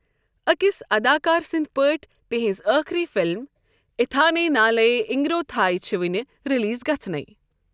أکِس اداکار سنٛدۍ پٲٹھۍ تہنٛز آخری فلم اِتھانے نالیے انگِروتھٲے چھِ وُنہِ ریلیز گژھنٕے۔